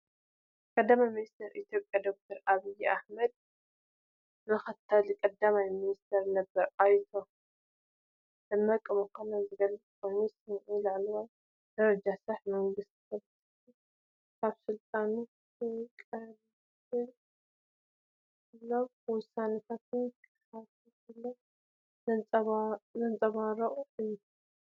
ቀዳማይ ሚኒስተር ኢትዮጵያ ዶክተር ኣብይ ኣሕመድን ምክትል ቀዳማይ ሚኒስተር ነበር ኣቶ ደመቀ መኮነንን ዝገልጽ ኮይኑ፡ ስምዒት ላዕለዋይ ደረጃ ስራሕ መንግስትን ፖለቲካዊ ካብ ስልጣኑ ክለቕቕ ከሎን ውሳነታትን ክሓልፍ ከሎ ዘንጸባርቕ እዩ።